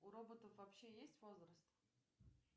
у роботов вообще есть возраст